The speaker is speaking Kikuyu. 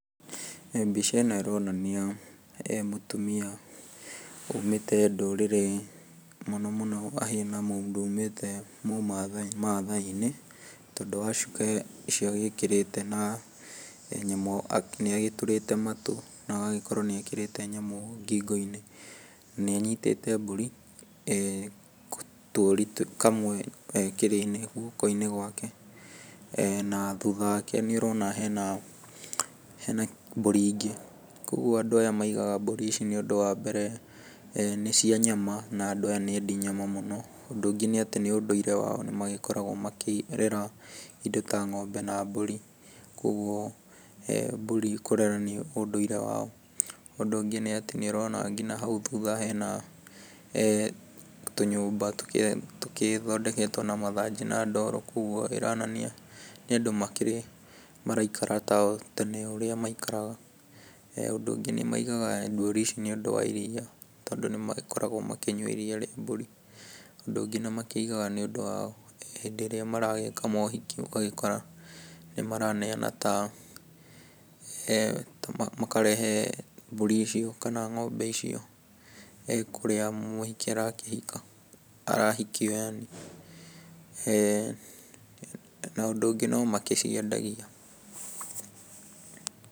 Mbica ĩno ĩronania mũtumia umĩte ndũrĩrĩ mũno mũno ahana mũndũ umĩte mũmathaai, mathaai-inĩ tondũ wa cuka ũcio agĩkĩrĩte na nĩagĩtũrĩte matu na agagĩkorwo nĩ ekĩrĩte nyamũ ngingo-ini, na nĩ anyitĩte mbũri tũũri kamwe gakĩrĩ guoko-inĩ gwake na thutha wake nĩũrona hena mbũri ingĩ. Koguo andũ aya maigaga mbũri nĩũndũ wa mbere nĩ cia nyama na andũ aya nĩendi nyama mũno. Ũndũ ũngĩ nĩ atĩ nĩ ũndũire wao nĩmakoragwo makĩrera indo ta ng'ombe na mbũri koguo mbũri kũrera nĩ ũndũire wao. Ũndũ ũngĩ nĩ atĩ nĩũrona nginya hau thutha hena tũnyũmba tũgĩthondeketwo na mathanjĩ na ndoro koguo nĩĩronania andũ makĩrĩ maragĩikara ta o ũrĩa tene maikaraga. Ũndũ ũngĩ nĩmaigaga mbũri ici nĩũndũ wa iriya tondũ nĩmagĩkoragwo makĩnyua iriya rĩa mbũri. Ũndũ ũngĩ nĩ makĩigaga nĩũndũ wa hĩndĩ ĩrĩa maragĩka mohiki, ũgagĩkora nĩmaraneyana ta kana makarehe mbũri icio kana ng'ombe icio kũrĩa mũhiki arakĩhika, arahikio yaani. Na ũndũ ũngĩ no magĩciendagia.